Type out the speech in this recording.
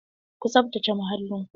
Ku tsaftace muhallin ku!